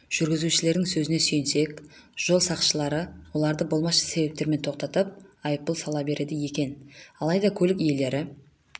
жүргізушілердің сөзіне сүйенсек жол сақшылары оларды болмашы себептермен тоқтатып айыппұл сала береді екен алайда көлік иелері